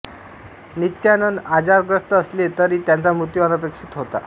नित्यानंद आजारग्रस्त असले तरी त्यांचा मृत्यू अनपेक्षित होता